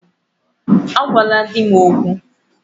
Agwala di m okwu!